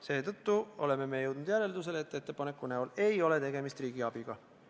Seetõttu oleme me jõudnud järeldusele, et ettepaneku näol ei ole tegemist riigiabiga.